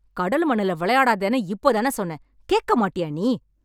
கடல் மண்ணுல விளையாடாதேன்னு இப்போதானே சொன்னேன். கேக்கமாட்டியா நீ